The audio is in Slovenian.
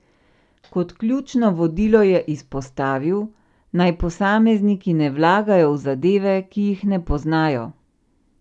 Kot ključno vodilo je izpostavil, naj posamezniki ne vlagajo v zadeve, ki jih ne poznajo.